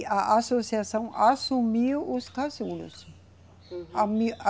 E a associação assumiu os casulos. Uhum.